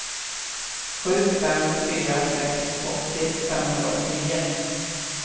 sju fem fyra sex åttio femhundraåttionio